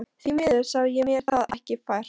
Því miður sá ég mér það ekki fært.